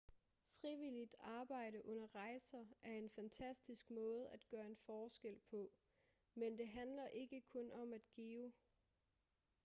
frivilligt arbejde under rejser er en fantastisk måde at gøre en forskel på men det handler ikke kun om at give